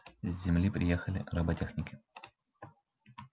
с земли приехали роботехники